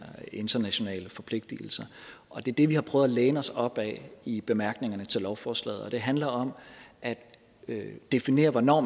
internationale forpligtelser og det er det vi har prøvet at læne os op ad i bemærkningerne til lovforslaget og det handler om at definere hvornår